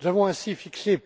Nous avons ainsi fixé